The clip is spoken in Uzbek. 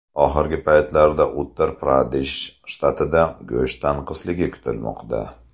Oxirgi paytlarda Uttar-Pradesh shtatida go‘sht tanqisligi kuzatilmoqda.